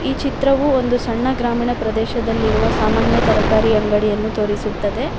ಈ ಚಿತ್ರವು ಒಂದು ಸಣ್ಣ ಗ್ರಾಮೀಣ ಪ್ರದೇಶದಲ್ಲಿರುವ ಸಾಮಾನ್ಯ ತರಕಾರಿ ಅಂಗಡಿಯನ್ನು ತೋರಿಸುತ್ತದೆ.